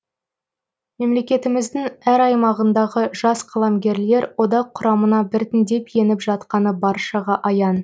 мемлекетіміздің әр аймағындағы жас қаламгерлер одақ құрамына біртіндеп еніп жатқаны баршаға аян